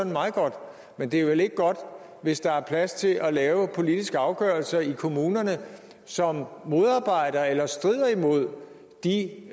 meget godt men det er vel ikke godt hvis der er plads til at lave politiske afgørelser i kommunerne som modarbejder eller strider imod de